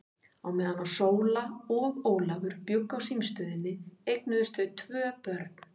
Á meðan Sóla og Ólafur bjuggu á símstöðinni eignuðust þau tvö börn.